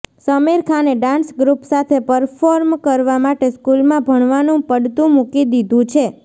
સમીર ખાને dance group સાથે perform કરવા માટે સ્કૂલમાં ભણવાનું પડતું મૂકી દીધું છે